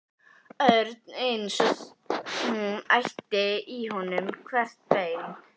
Örn eins og hún ætti í honum hvert bein.